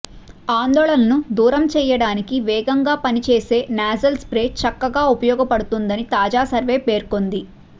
ఆందోళనను దూరం చేయడానికి వేగంగా పనిచేసే నాజల్ స్ప్రే చక్కగా ఉపయోగపడుతుందని తాజా సర్వే పేర్కొంది